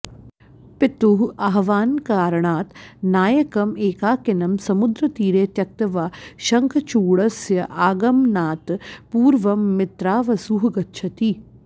पितुः आह्वानकारणात् नायकम् एकाकिनं समुद्रतीरे त्यक्त्वा शङ्खचूडस्य आगमनात् पूर्वं मित्रावसुः गच्छति